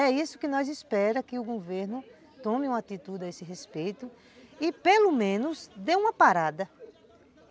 É isso que nós esperamos, que o governo tome uma atitude a esse respeito e pelo menos dê uma parada.